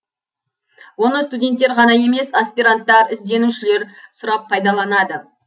оны студенттер ғана емес аспиранттар ізденушілер сұрап пайдаланды